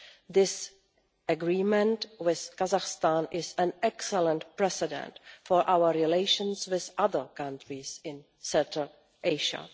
This agreement with Kazakhstan is an excellent precedent for our relations with other countries in Central Asia.